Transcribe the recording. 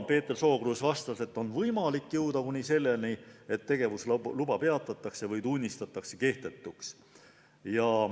Peeter Sookruus vastas, et on võimalik jõuda ka selleni, et tegevusluba peatatakse või tunnistatakse kehtetuks.